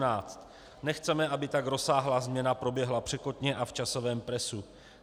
Nechceme, aby tak rozsáhlá změna proběhla překotně a v časovém presu.